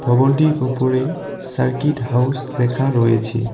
ভবনটির উপরে circuit house লেখা রয়েছে।